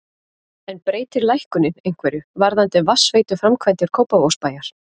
En breytir lækkunin einhverju varðandi vatnsveituframkvæmdir Kópavogsbæjar?